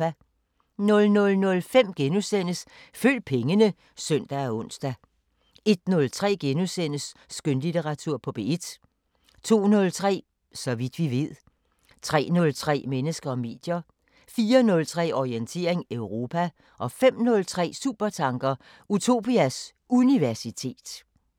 00:05: Følg pengene *(søn og ons) 01:03: Skønlitteratur på P1 * 02:03: Så vidt vi ved 03:03: Mennesker og medier 04:03: Orientering Europa 05:03: Supertanker: Utopias Universitet